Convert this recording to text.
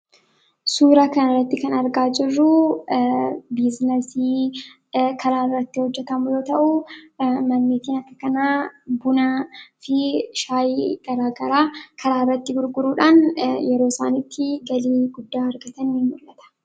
Suuraa kanarratti kan argaa jirru biizinasii karaarratti hojjatamu yoo ta'u, manni kiraa kanaa bunaa fi shaayii garaagaraa karaarratti gurguruudhaan yeroosaan itti galii guddaa argatanidha.